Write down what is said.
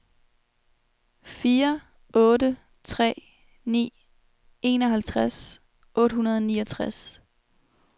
fire otte tre ni enoghalvtreds otte hundrede og niogtres